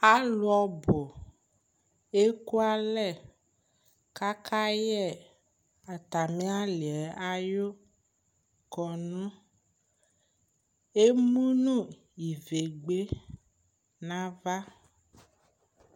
alʋ ɔbʋ ɛkʋ alɛ kʋ akayɛ atami aliɛ ayʋ kɔnʋ, ɛmʋnʋ ivɛgbɛ nʋ aɣa